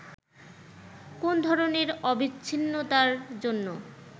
কোন ধরনের অবিচ্ছিন্নতার জন্য